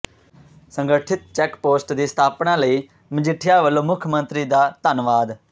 ਸੰਗਠਿਤ check post ਦੀ ਸਥਾਪਨਾ ਲਈ ਮਜੀਠੀਆ ਵਲੋਂ ਮੁੱਖ ਮੰਤਰੀ ਦਾ ਧੰਨਵਾਦ